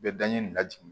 U bɛ daɲɛ nin lajigin